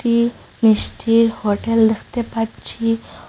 ই পেস্টির হোটেল দেখতে পাচ্ছি।